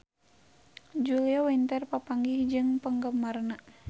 Julia Winter papanggih jeung penggemarna